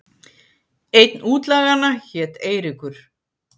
Einn útlaganna hét Eiríkur.